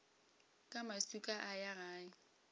ka maswika a ya gae